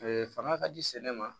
fanga ka di sɛnɛ ma